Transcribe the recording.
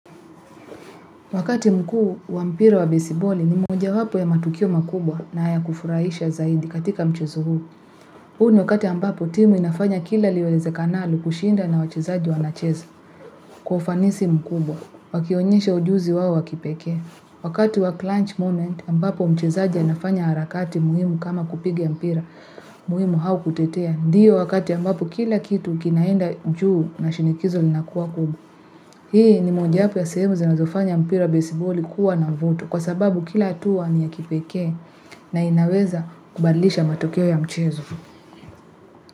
Wakati mkuu wa mpira wa besiboli ni mojawapo ya matukio makubwa na ya kufurahisha zaidi katika mchezo huu. Huu ni wakati ambapo timu inafanya kila liwezekanalo kushinda na wachezaji wanacheza kwa ufanisi mkubwa. Wakionyesha ujuzi wao wa kipekee. Wakati wa clutch moment ambapo mchezaji anafanya harakati muhimu kama kupiga mpira muhimu au kutetea. Ndio wakati ambapo kila kitu kinaenda juu na shinikizo linakuwa kubwa. Hii ni mojawapo ya sehemu zinazofanya mpira wa besiboli kuwa na mvuto kwa sababu kila hatua ni ya kipekee na inaweza kubadilisha matokeo ya mchezo.